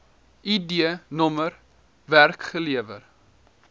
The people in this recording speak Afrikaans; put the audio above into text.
id nr werkgewer